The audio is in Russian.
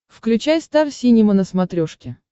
включай стар синема на смотрешке